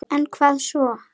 En hvað svo??